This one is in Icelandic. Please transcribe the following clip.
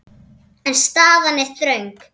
En staðan er þröng.